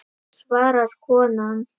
svarar konan.